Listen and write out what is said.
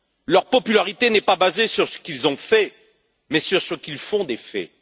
Leur popularité n'est pas basée sur ce qu'ils ont fait, mais sur ce qu'ils font des faits.